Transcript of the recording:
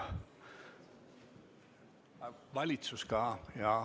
Aa, valitsus ka.